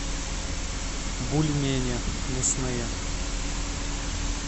бульмени мясные